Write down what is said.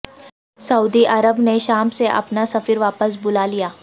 سعودی عرب نے شام سے اپنا سفیر واپس بلا لیا